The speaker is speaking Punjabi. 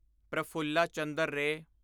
ਪ੍ਰਫੁੱਲਾ ਚੰਦਰ ਰੇ